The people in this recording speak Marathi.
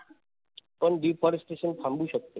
पण deforestation थांबू शकत.